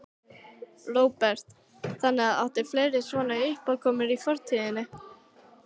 Róbert: Þannig að, áttu fleiri svona uppákomur í fortíðinni?